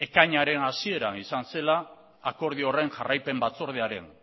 ekainaren hasieran izan zela akordio horren jarraipen batzordearen